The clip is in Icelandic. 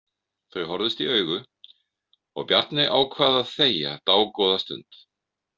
Þau horfðust í augu og Bjarni ákvað að þegja dágóða stund.